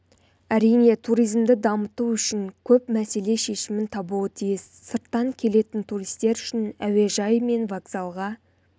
әрине туризмді дамыту үшін көп мәселе шешімін табуы тиіс сырттан келетін туристер үшін әуежай мен вокзалға